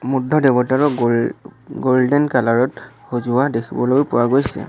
বুদ্ধ দেৱতাৰো গোল golden colour ত সজোৱা দেখিবলৈও পোৱা গৈছে।